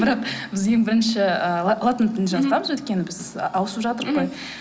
бірақ біз ең бірінші ы латын тілін жазғанбыз өйткені біз ы ауысып қой